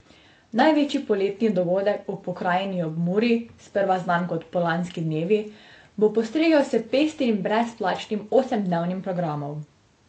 Največji poletni dogodek v pokrajini ob Muri, sprva znan kot Polanski dnevi, bo postregel s pestrim brezplačnim osemdnevnim programom.